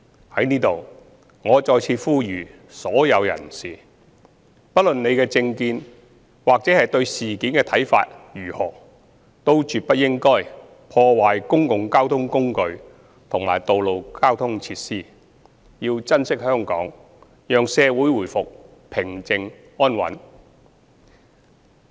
在此，我再次呼籲所有人士，不論你的政見或對事件的看法如何，都絕不應該破壞公共交通工具及道路交通設施，要珍惜香港，讓社會回復平靜安穩。